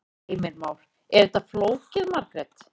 Heimir Már: Er þetta flókið Margrét?